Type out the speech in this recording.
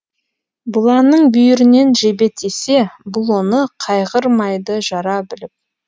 бұланның бүйірінен жебе тисе бұл оны кайғырмайды жара біліп